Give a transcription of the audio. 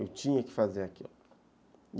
Eu tinha que fazer aquilo.